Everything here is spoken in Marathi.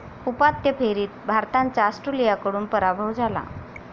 उपांत्य फेरीत भारताचा ऑस्ट्रेलियाकडून पराभव झाला.